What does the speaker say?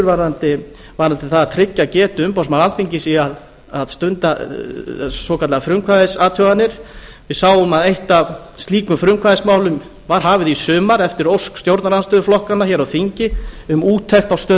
varðandi það að tryggja getu umboðsmanns alþingis í að stunda svokallaðar frumkvæðisathuganir við sáum að eitt af slíkum frumkvæðismálum var hafið í sumar eftir ósk stjórnarandstöðuflokkanna hér á þingi um úttekt á stöðu